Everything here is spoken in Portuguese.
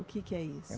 O que que é isso?